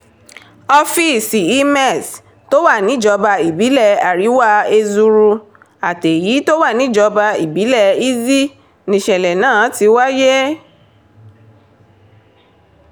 ọ́fíìsì imez tó wà níjọba ìbílẹ̀ àríwá ezuru àtèyí tó wà níjọba ìbílẹ̀ izzi níṣẹ̀lẹ̀ náà ti wáyé